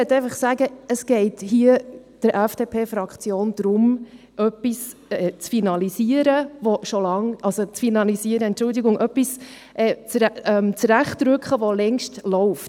Es geht der FDP-Fraktion hier darum, etwas zu zurechtzurücken, das längst läuft.